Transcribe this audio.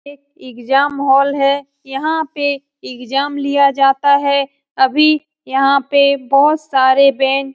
exam hall है यहाँ पे एग्जाम लिया जाता है अभी यहाँ पे बहुत सारे बेंच --